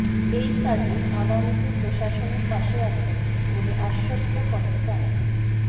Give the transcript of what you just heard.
এই কাজে আগামীতে প্রশাসনের পাশে আছেন বলে আশ্বস্ত করেন তারা